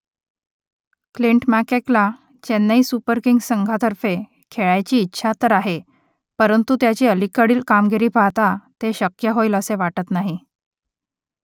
Clint McKellar Chennai Super Kings संघातर्फे खेळायची इच्छा तर आहे परंतु त्याची अलीकडील कामगिरी पाहता ते शक्य होईल असे वाटत नाही